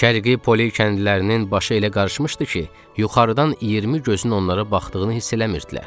Şərqi poli kəndlərinin başı elə qarışmışdı ki, yuxarıdan 20 gözün onlara baxdığını hiss eləmirdilər.